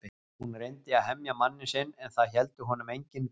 Hún reyndi að hemja manninn sinn en það héldu honum engin bönd.